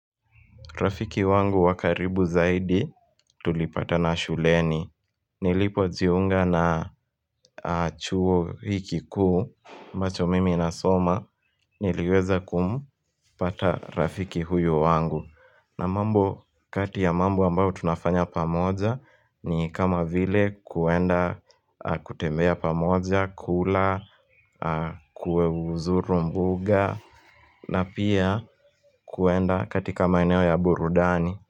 Rafiki wangu wa karibu zaidi tulipatana shuleni. Nilipo jiunga na chuo hii kuu, ambacho mimi na soma, niliweza kumpata rafiki huyo wangu. Na mambo kati ya mambo ambao tunafanya pamoja ni kama vile kuenda kutembea pamoja, kula, kuzuru mbuga na pia kuenda katika maeneo ya burudani.